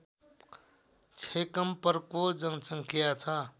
छैकम्परको जनसङ्ख्या छ